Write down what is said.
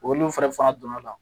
Olu fɛnɛ fanga donna la